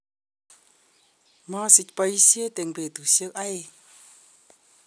maasich boisiet eng betusiek oeng'